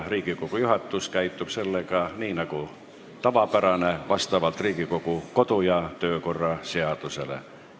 Riigikogu juhatus käitub sellega nii, nagu tavaks on, st vastavalt Riigikogu kodu- ja töökorra seadusele.